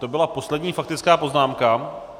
To byla poslední faktická poznámka.